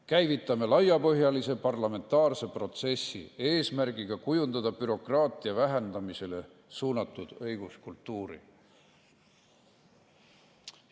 Käivitame laiapõhjalise parlamentaarse protsessi eesmärgiga kujundada bürokraatia vähendamisele suunatud õiguskultuuri.